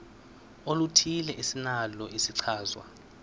oluthile esinalo isichazwa